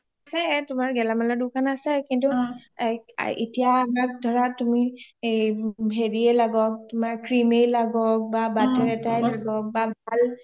আছে তোমাৰ গেলামালৰ দুকান আছে কিন্তু এতিয়া ধৰা তুমি হেৰিয়ে লাগক cream য়ে লাগাক বা butter এটায়ে লাগক বা bulb